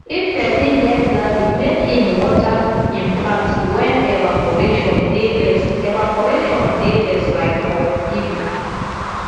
if person get garden make im water im plants when evaporation dey less evaporation dey less like for evening